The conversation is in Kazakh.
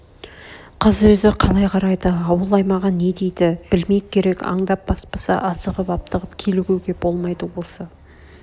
қыз өз қалай қарайды ауыл аймағы не дейді білмек керек аңдап баспаса асығып-аптығып килігуге болмайды осы